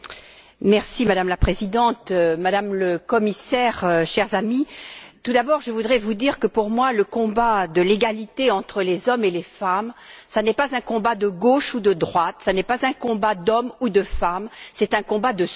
Madame la Présidente, Madame la Commissaire, chers amis, tout d'abord, je voudrais vous dire que, pour moi, le combat de l'égalité entre les hommes et les femmes n'est pas un combat de gauche ou de droite, ce n'est pas un combat d'hommes ou de femmes, c'est un combat de société.